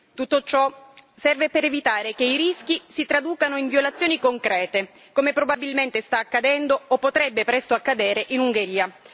Tutto ciò serve per evitare che i rischi si traducano in violazioni concrete, come probabilmente sta accadendo o potrebbe presto accadere in Ungheria.